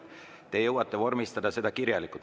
Te jõuate vormistada selle kirjalikult.